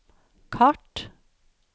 kart